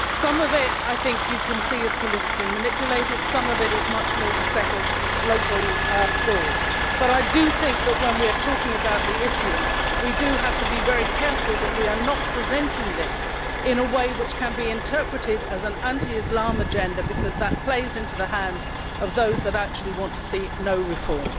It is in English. Some of it, I think you can see, is politically manipulated and some of it is much more to settle local scores, but I do think that when we are talking about the issue, we have to be very careful that we are not presenting this in a way which can be interpreted as an anti Islam agenda, because that plays into the hands of those who actually do not want to see any reform.